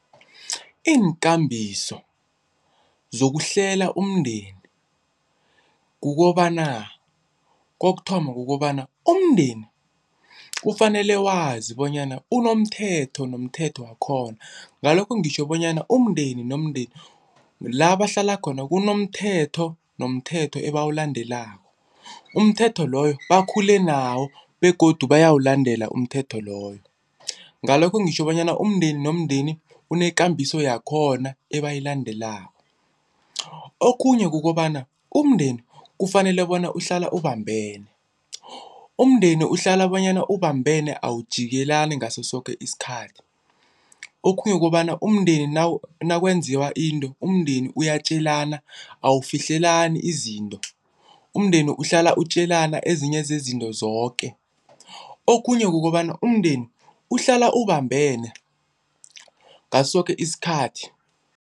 Iinkambiso zokuhlela umndeni kukobana, kokuthoma kukobana umndeni kufanele wazi bonyana unomthetho nomthetho wakhona. Ngalokho ngitjho bonyana umndeni nomndeni la bahlala khona kunomthetho, nomthetho abawulandelako umthetho loyo bakhule nawo begodu bayawulandela umthetho loyo. Ngalokho ngitjho bonyana umndeni nomndeni unekambiso yakhona ebayilandelelako. Okhunye kukobana umndeni kufanele bona uhlale ubambene, umndeni uhlala bonyana ubambene awujikelani ngaso soke isikhathi. Okhunye kukobana umndeni nakwenziwa into, umndeni uyatjelana awufihlelani izinto. Umndeni uhlala utjelana ezinye zezinto zoke. Okhunye kukobana umndeni uhlala ubambene ngaso soke isikhathi.